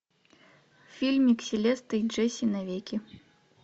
фильм селеста и джесси навеки